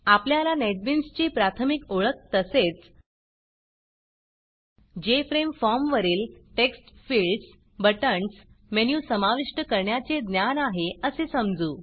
आपल्याला नेटबीन्स ची प्राथमिक ओळख तसेच जेएफआरएमई फॉर्मवरील टेक्स्ट फिल्डस बटण्स मेनू समाविष्ट करण्याचे ज्ञान आहे असे समजू